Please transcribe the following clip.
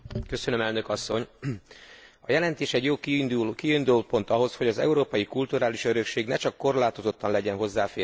A jelentés jó kiindulópont ahhoz, hogy az európai kulturális örökség ne csak korlátozottan legyen hozzáférhető.